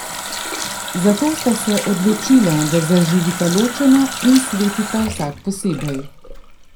Zato sta se odločila, da zaživita ločeno in svetita vsak posebej.